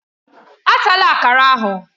Atala Akara ahụ!